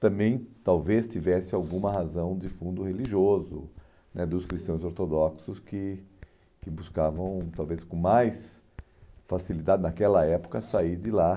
também talvez tivesse alguma razão de fundo religioso né dos cristãos ortodoxos que que buscavam talvez com mais facilidade, naquela época, sair de lá.